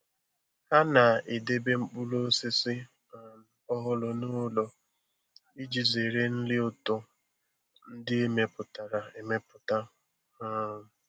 Ha na-edebe mkpụrụ osisi um ọhụrụ n'ụlọ iji zere nri ụtọ ndị emepụtara emepụta. um